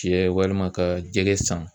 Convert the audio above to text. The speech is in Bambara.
Cɛ walima ka jɛgɛ san.